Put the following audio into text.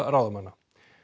ráðamanna